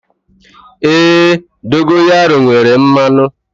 Èé, dogayaru nwere mmanụ.